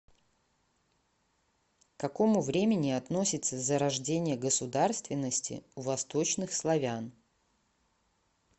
к какому времени относится зарождение государственности у восточных славян